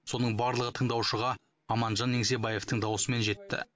соның барлығы тыңдаушыға аманжан еңсебаевтың дауысымен жетті